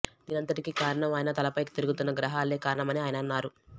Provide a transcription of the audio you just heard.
దీనంతటికి కారణం ఆయన తలపై తిరుగుతున్న గ్రహాలే కారణమని ఆయన అన్నారు